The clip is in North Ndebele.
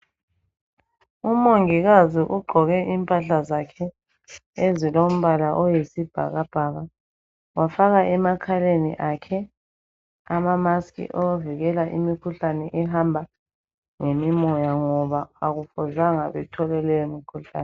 Umongikazi ugqoke impahla zakhe ezilombala oyisibhakabhaka, wafaka emakhaleni akhe amamask awokuvikela imikhuhlane ehamba ngemimoya ngoba akufuzanga bathole leyo mikhuhlane.